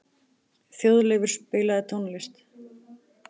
Þjóðleifur, spilaðu tónlist.